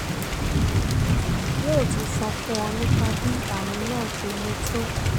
yóò tún sọ fún ọ nípa bí àrùn náà ṣe le tó